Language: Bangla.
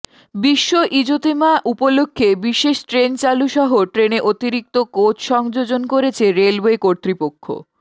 বিশ্ব ইজতেমা উপলক্ষে বিশেষ ট্রেন চালুসহ ট্রেনে অতিরিক্ত কোচ সংযোজন করেছে রেলওয়ে কর্তৃপক্ষ